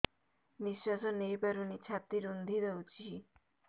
ନିଶ୍ୱାସ ନେଇପାରୁନି ଛାତି ରୁନ୍ଧି ଦଉଛି